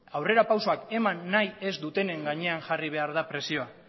aurrera pausuak eman nahi ez dutenen gainean jarri behar da presioa